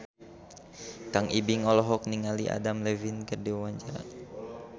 Kang Ibing olohok ningali Adam Levine keur diwawancara